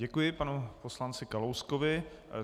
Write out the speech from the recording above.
Děkuji panu poslanci Kalouskovi.